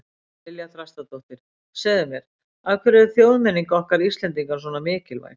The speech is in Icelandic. María Lilja Þrastardóttir: Segðu mér, af hverju er þjóðmenningin okkar Íslendinga svona mikilvæg?